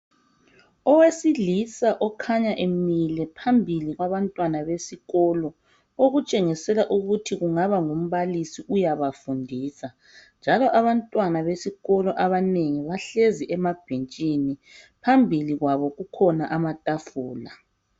Owesilisa okhanya emile phambili kwabantwana besikolo okutshengisela ukuthi kungaba ngumbalisi uyabafundisa njalo abantwana besikolo abanengi bahlezi emabhentshini phambili kwabo kukhona amatafula.